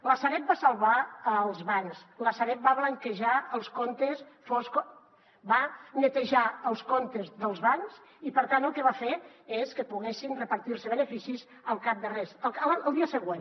la sareb va salvar els bancs la sareb va blanquejar els comptes foscos va netejar els comptes dels bancs i per tant el que va fer és que poguessin repartir se beneficis al cap de res el dia següent